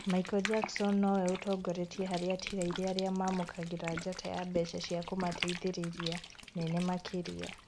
Michael Jackson nowe ũtongoretie harĩ atigaire arĩa mamũkagĩra njata ya mbeca cia kũmateithia nene makĩria.